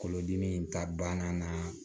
Kolodimi in ta banna naa